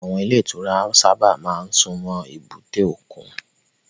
Àwọn ilé ìtura sábà máa ń súnmọ́ èbúté òkun.